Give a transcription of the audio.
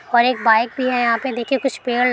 और एक बाइक भी है यहां पे देखिए कुछ पेड़ --